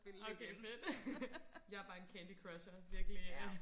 okay fedt jeg er bare en Candy crusher virkelig